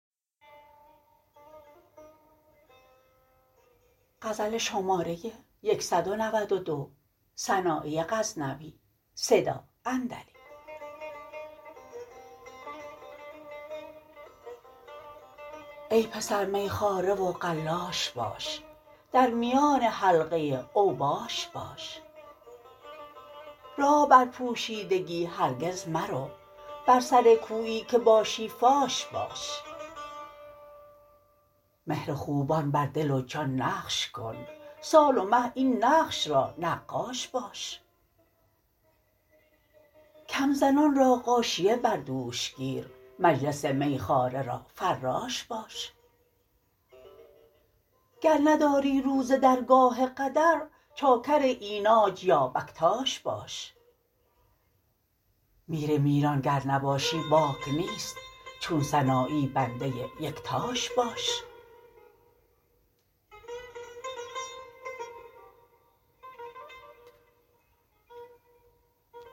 ای پسر میخواره و قلاش باش در میان حلقه اوباش باش راه بر پوشیدگی هرگز مرو بر سر کویی که باشی فاش باش مهر خوبان بر دل و جان نقش کن سال و مه این نقش را نقاش باش کم زنان را غاشیه بر دوش گیر مجلس میخواره را فراش باش گر نداری رو ز درگاه قدر چاکر اینانج یا بکتاش باش میر میران گر نباشی باک نیست چون سنایی بنده یکتاش باش